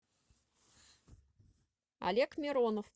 олег миронов